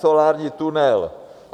Solární tunel.